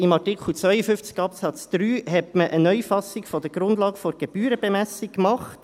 In Artikel 52 Absatz 3 hat man eine Neufassung der Grundlage der Gebührenbemessung gemacht.